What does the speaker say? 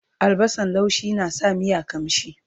albasan laushi na sa miya ƙamshi